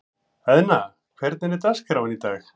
Eðna, hvernig er dagskráin í dag?